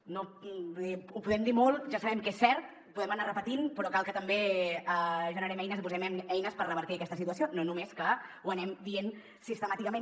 vull dir ho podem dir molt ja sabem que és cert ho podem anar repetint però cal que també generem eines i posem eines per revertir aquesta situació no només que ho anem dient sistemàticament